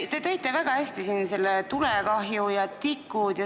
Te tõite väga hästi siin näiteks tulekahju ja tikud.